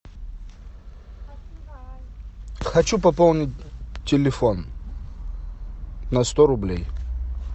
хочу пополнить телефон на сто рублей